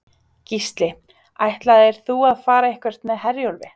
Gísli: Ætlaðir þú að fara eitthvað með Herjólfi?